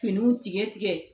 Finiw tigɛ tigɛ